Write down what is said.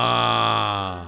Ha!